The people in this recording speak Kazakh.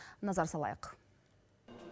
назар салайық